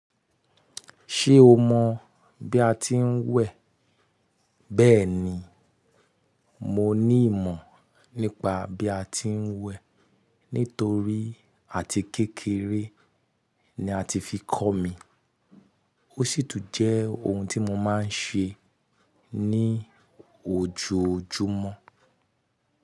Ṣé o mọ̀ bí a ti ń wẹ̀? Bẹ́ẹ̀ni, mo ní ìmọ̀ nípa bí a ti ń wẹ̀ nítorí àti kékeré ni a ti fi kọ́ mi, ó sì tún jẹ́ ohun tí mo máa ń ṣe ní ojojúmọ́.